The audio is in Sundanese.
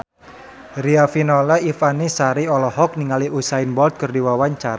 Riafinola Ifani Sari olohok ningali Usain Bolt keur diwawancara